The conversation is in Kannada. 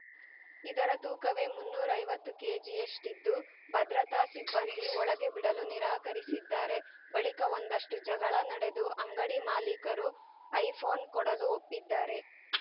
ಇದರ ತೂಕವೇ ಮುನ್ನೂರ್ ಐವತ್ತು ಕೆಜಿಯಷ್ಟಿದ್ದು ಭದ್ರತಾ ಸಿಬ್ಬಂದಿ ಒಳಗೆ ಬಿಡಲು ನಿರಾಕರಿಸಿದ್ದಾರೆ ಬಳಿಕ ಒಂದಷ್ಟುಜಗಳ ನಡೆದು ಅಂಗಡಿ ಮಾಲೀಕರು ಐಫೋನ್‌ ಕೊಡಲು ಒಪ್ಪಿದ್ದಾರೆ